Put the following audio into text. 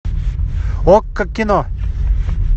окко кино